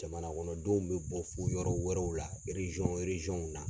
Jamana kɔnɔ denw bɛ bɔ fo yɔrɔ wɛrɛw la na.